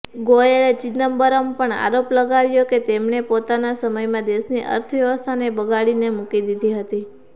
ગોયલે ચિદમ્બરમ પર આરોપ લગાવ્યો કે તેમણે પોતાના સમયમાં દેશની અર્થવ્યવસ્થાને બગાડીને મૂકી દીધી હતી